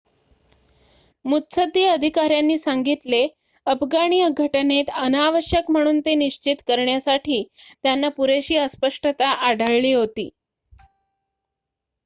मुत्सद्दी अधिकाऱ्यांनी सांगितले अफगाणी घटनेत अनावश्यक म्हणून ते निश्चित करण्यासाठी त्यांना पुरेशी अस्पष्टता आढळली होती